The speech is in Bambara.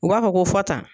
U b'a fɔ ko fɔ tan